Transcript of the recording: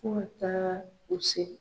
Fo ka taa u se.